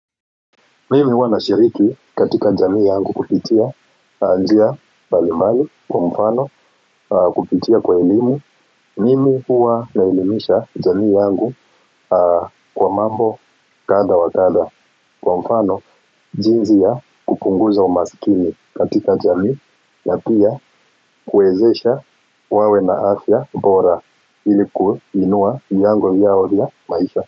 Mimi huwa nashiriki katika jamii yangu kupitia njia mbalimbali kwa mfano kupitia kwa elimu mimi huwa naelimisha jamii yangu kwa mambo kadha wa kadha kwa mfano jinsi ya kupunguza umasikini katika jamii na pia kuwezesha wawe na afya bora ili kuinua milango yao ya maisha.